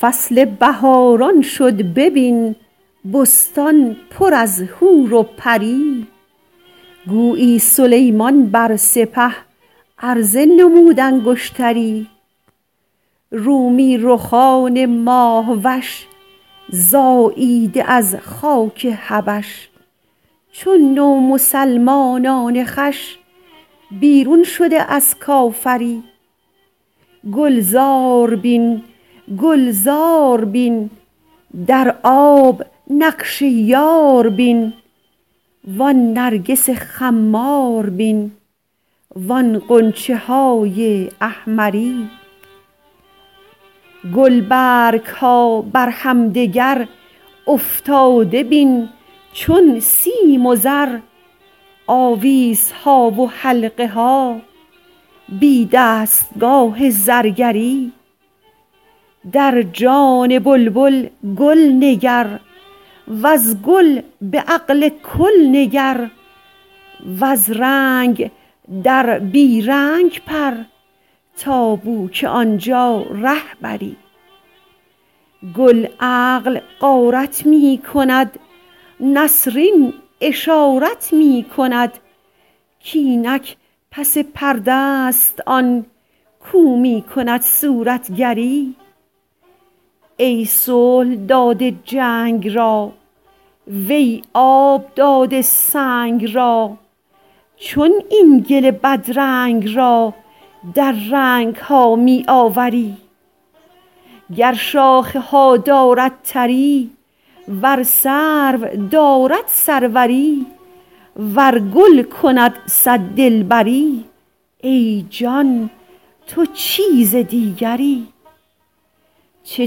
فصل بهاران شد ببین بستان پر از حور و پری گویی سلیمان بر سپه عرضه نمود انگشتری رومی رخان ماه وش زاییده از خاک حبش چون نومسلمانان خوش بیرون شده از کافری گلزار بین گلزار بین در آب نقش یار بین و آن نرگس خمار بین و آن غنچه های احمری گلبرگ ها بر همدگر افتاده بین چون سیم و زر آویزها و حلقه ها بی دستگاه زرگری در جان بلبل گل نگر وز گل به عقل کل نگر وز رنگ در بی رنگ پر تا بوک آن جا ره بری گل عقل غارت می کند نسرین اشارت می کند کاینک پس پرده است آن کاو می کند صورتگری ای صلح داده جنگ را وی آب داده سنگ را چون این گل بدرنگ را در رنگ ها می آوری گر شاخه ها دارد تری ور سرو دارد سروری ور گل کند صد دلبری ای جان تو چیزی دیگری چه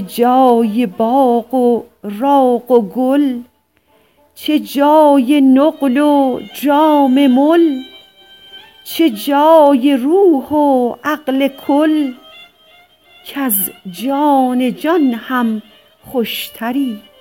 جای باغ و راغ و گل چه جای نقل و جام مل چه جای روح و عقل کل کز جان جان هم خوشتری